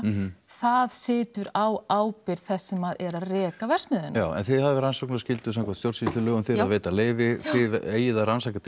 það situr á ábyrgð þess sem er að reka verksmiðjuna já en þið hafið rannsóknarskyldu samkvæmt stjórnskýslulögum þið að veita leyfi þið eigið að rannsaka